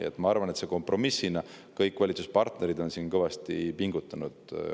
Nii et ma arvan, et see on kompromiss, mille nimel on kõik valitsuspartnerid kõvasti pingutanud.